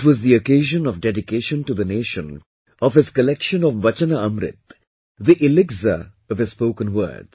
It was the occasion of dedication to the nation of his collection of Vachana Amrit, the elixir of his spoken words